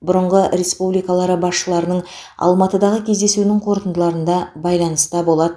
бұрынғы республикалары басшыларының алматыдағы кездесуінің қорытындыларында байланысты болады